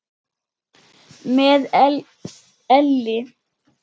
Með elli.